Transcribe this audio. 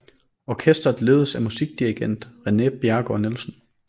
Orkestret ledes af musikdirigent René Bjerregaard Nielsen